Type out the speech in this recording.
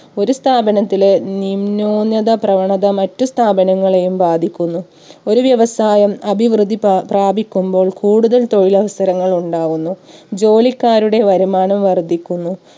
ഒരു സ്ഥാപനത്തിലെ നിം ന്യൂനത പ്രവണത മറ്റ് സ്ഥാപനങ്ങളെയും ബാധിക്കുന്നു. ഒരു വ്യവസായം അഭിവൃദ്ധി പാ പ്രാപിക്കുമ്പോൾ കൂടുതൽ തൊഴിലവസരങ്ങൾ ഉണ്ടാവുന്നു. ജോലിക്കാരുടെ വരുമാനം വർധിക്കുന്നു